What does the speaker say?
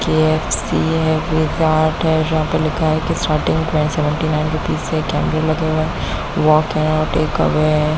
KFC है Pizza Hut है जहां पर लिखा है कि starting price seventy nine rupees से कैमरे लगे हुए है वाक आउट टेक अवे है।